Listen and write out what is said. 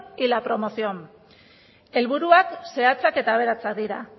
y la promoción helburuak zehatzak eta aberatsak dira